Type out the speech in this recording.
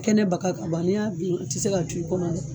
Kɛnɛ baka ka ban n'i y'a dun a tɛ se ka to i kɔnɔ